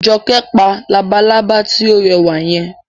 Jọkẹ́ pa labalábá tí ó rẹwà yẹn